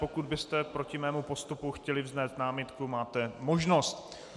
Pokud byste proti mému postupu chtěli vznést námitku, máte možnost.